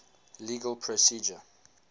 legal procedure